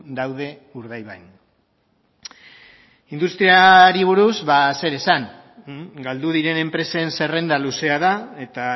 daude urdaibain industriari buruz ba zer esan galdu diren enpresen zerrenda luzea da eta